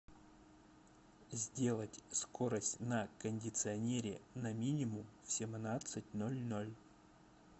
сделать скорость на кондиционере на минимум в семнадцать ноль ноль